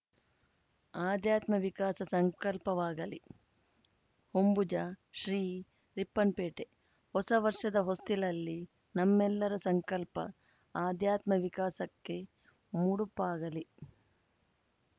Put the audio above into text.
ಆಧ್ಯಾತ್ಮ ವಿಕಾಸ ಸಂಕಲ್ಪವಾಗಲಿ ಹೊಂಬುಜ ಶ್ರೀ ರಿಪ್ಪನ್‌ಪೇಟೆ ಹೊಸ ವರ್ಷದ ಹೊಸ್ತಿಲಲ್ಲಿ ನಮ್ಮೆಲ್ಲರ ಸಂಕಲ್ಪ ಆಧ್ಯಾತ್ಮ ವಿಕಾಸಕ್ಕೆ ಮುಡುಪಾಗಲಿ